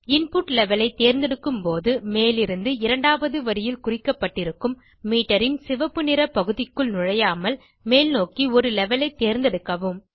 input levelஐ தேர்ந்தெடுக்கும்போது மேலிருந்து இரண்டாவது வரியில் குறிக்கப்பட்டிருக்கும் மீட்டர் ன் சிவப்பு நிற பகுதிக்குள் நுழையாமல் மேல்நோக்கி ஒரு லெவல் ஐ தேர்ந்தெடுக்கவும்